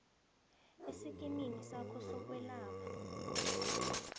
esikimini sakho sokwelapha